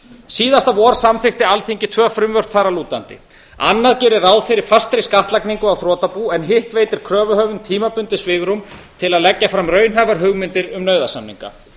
síðasta vor samþykkti alþingi tvö frumvörp þar að lútandi annað gerir ráð fyrir fastri skattlagningu á þrotabú en hitt veitir kröfuhöfum tímabundið svigrúm til að leggja fram raunhæfar hugmyndir um nauðasamninga